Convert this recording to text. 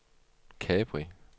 Capri